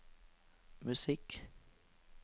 musikk